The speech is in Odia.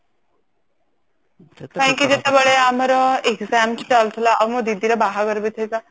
କାହିଁକି ଯେତେବେଳେ ମୋ ଏଗଜାମ ଚାଲିଥିଲା ଆଉ ମୋ ଦିଦିର ବାହାଘର ବି ଥିଲା